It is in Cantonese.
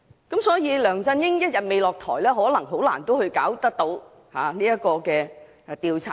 因此，只要梁振英一天未下台，可能很難認真進行調查。